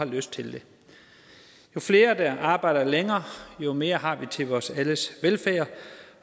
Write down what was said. lyst til det jo flere der arbejder længere jo mere har vi til vores alles velfærd